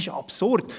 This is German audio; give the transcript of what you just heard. Das ist absurd.